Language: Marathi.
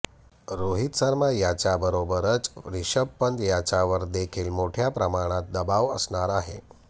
रोहित शर्मा याच्याबरोबरच रिषभ पंत याच्यावर देखील मोठ्या प्रमाणात दबाव असणार आहे